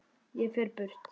Ég fer burt.